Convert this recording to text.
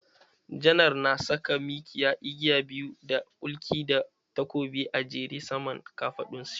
Janar na saka mikiya, igiya biyu da kulki da takobi a jere saman kafaɗun shi.